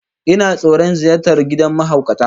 Ina tsoron ziyartar gidan mahaukata